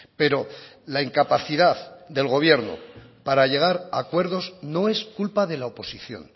pero la incapacidad del gobierno para llegar a acuerdos no es culpa de la oposición